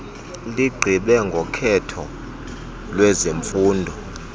ligqibe ngokhetho lwezifundo